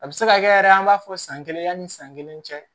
A bɛ se ka kɛ yɛrɛ an b'a fɔ san kelen yanni san kelen cɛ